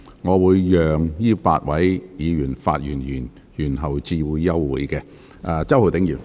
我會讓這8位議員發言完畢後才宣布休會。